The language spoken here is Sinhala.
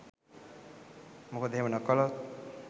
මොකද එහෙම නොකළොත්